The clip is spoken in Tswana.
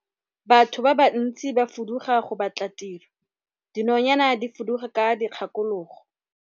Batho ba bantsi ba fuduga go batla tiro, dinonyane di fuduga ka dikgakologo.